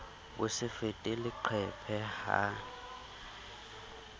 bo se fete leqephe ha